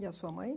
E a sua mãe?